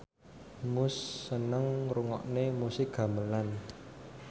Muse seneng ngrungokne musik gamelan